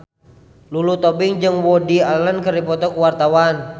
Lulu Tobing jeung Woody Allen keur dipoto ku wartawan